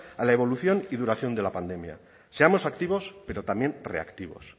a la evolución y duración de la pandemia seamos activos pero también reactivos